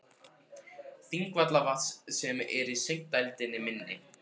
Þingvallavatns sem er í sigdældinni milli